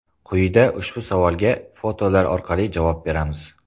Quyida ushbu savolga fotolar orqali javob beramiz.